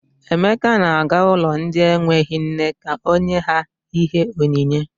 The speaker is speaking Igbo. Emeka na-aga ụlọ ndị enweghi nne ka o nye ha ihe onyinye.